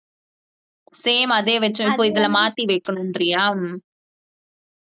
same அதே வெச்சது போல், இதுல மாத்தி வெக்கணும்றயா